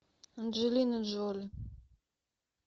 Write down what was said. анджелина джоли